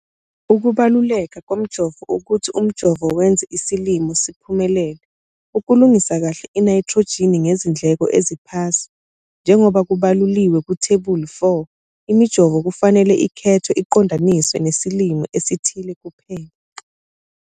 Ukubaluleka komjovo ukuthi umjovo wenza isilimo, siphumelele, ukulungisa kahle inayithrojini ngezindleko eziphasi. Njengoba kubaluliwe kuThebula 4, imijovo kufanele ikhethwe iqondaniswe nesilimo esithile kuphela.